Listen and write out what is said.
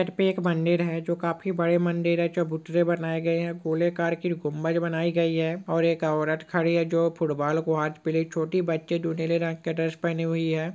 एक मंदिर है जो काफी बड़ा मंदिर है चबूतरे बनाये गए हैं गोलाकार की हुकूमत बनाई गई है। और एक औरत खड़ी है जो फुटबॉल को आज-- पहले छोटी बच्चे ढूंढने में क्या ड्रेस पहनी हुई है।